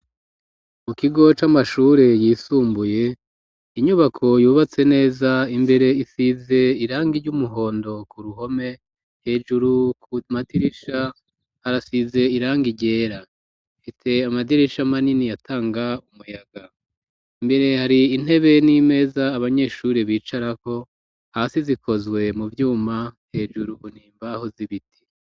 Mu kigo c'amashure yisumbuye, inyubako yubatse neza, imbere isize irangi ry'umuhondo ku ruhome, hejuru ku madirisha harasize irangi ryera, ifise amadirisha manini atanga umuyaga, imbere hari intebe n'imeza abanyeshuri bicarako, hasi zikozwe mu vyuma, hejuru bmu mbaho z'ibiti.